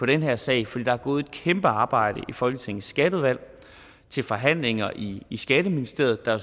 den her sag for der er gået et kæmpe arbejde i folketingets skatteudvalg og til forhandlinger i i skatteministeriet der